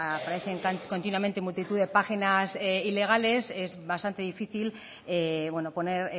aparecen continuamente multitud de páginas ilegales es bastante difícil poner